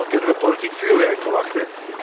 Dan kunnen we politiek vuurwerk verwachten.